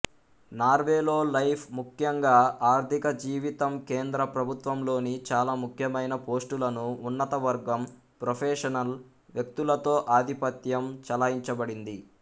నార్వేలో life ముఖ్యంగా ఆర్థిక జీవితం కేంద్ర ప్రభుత్వంలోని చాలా ముఖ్యమైన పోస్టులను ఉన్నతవర్గం ప్రొఫెషనల్ వ్యక్తులతో ఆధిపత్యం చెలాయించబడింది